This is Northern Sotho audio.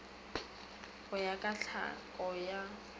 go ya ka tlhako ya